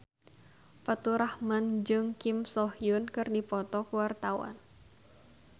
Faturrahman jeung Kim So Hyun keur dipoto ku wartawan